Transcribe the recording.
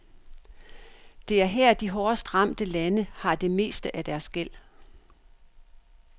Det er her, de hårdest ramte lande har det meste af deres gæld.